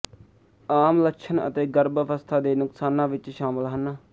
ਆਮ ਲੱਛਣ ਅਤੇ ਗਰਭ ਅਵਸਥਾ ਦੇ ਨੁਕਸਾਨਾਂ ਵਿੱਚ ਸ਼ਾਮਲ ਹਨ